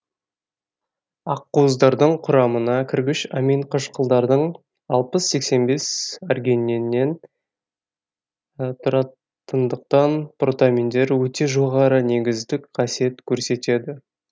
ақуыздардың құрамына кіргіш амин қышқылдарының алпыс сексен бес аргининнен тұратындықтан протаминдер өте жоғарғы негіздік қасиет көрсетеді